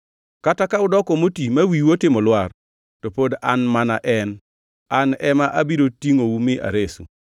Kata ka udoko moti ma wiu otimo lwar, to pod An mana en, An ema abiro tingʼou mi aresu.